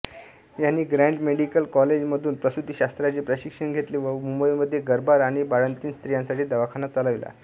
यांनी Grant medical कॉलेजमधून प्रसूतीशास्त्राचे प्रशिक्षण घेतले व मुंबईमध्ये गर्भार आणि बाळंतीण स्त्रीयांसाठी दवाखाना चालविला